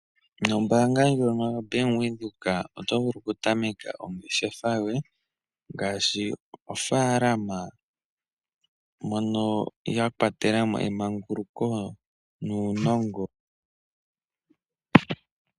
Nombaanga ndjoka Bank Windhoek oto vulu okutameka ongeshefa yoye ngaashi ofaalama, mono ya kwatelamo emanguluko nuunongo.